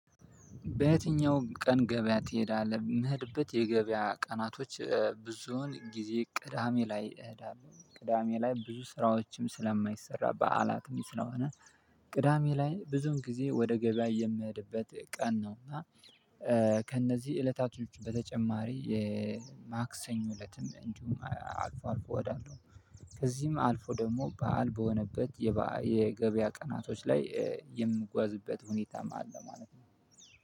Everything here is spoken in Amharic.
በየትኛው ቀን ገበያ ትሄዳለህ? የምሄድበት የገበያ ቀናቶች ብዙውን ጊዜ ቅዳሜ ላይ እሄዳለሁ ቅዳሜ ላይ ብዙ ስራዎችም ስለማይሰራ በዓላትም ስለሆነ ቅዳሜ ላይ ብዙውን ጊዜ ወደ ገበያ የምሄድበት ቀን ነው። እና ከእነዚህ እለታቶች በተጨማሪ የማክሰኞ እለትም እንዲሁም አልፎ አልፎ እሄዳለው። ከዚህም አልፎ ደግሞ በዓል በሆነበት የገበያ ቀናቶች ላይ የምጓዝበት ሁኔታም አለ ማለት ነው።